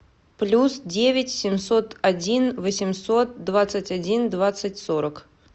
плюс девять семьсот один восемьсот двадцать один двадцать сорок